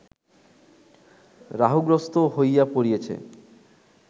রাহুগ্রস্ত হইয়া পড়িয়েছে